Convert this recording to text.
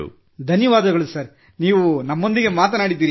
ಧನ್ಯವಾದಗಳು ಸರ್ ನೀವು ನಮ್ಮೊಂದಿಗೆ ಮಾತನಾಡಿದಿರಿ